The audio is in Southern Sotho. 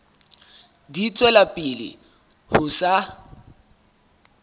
di tswela pele ho sa